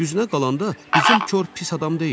Düzünə qalanda bizim Kor pis adam deyil.